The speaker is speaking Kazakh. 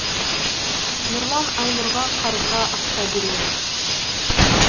нұрлан айнұрға қарызға ақша береді